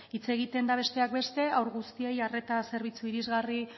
hitz egiten da besteak beste haur guztiei arreta zerbitzu irizgarri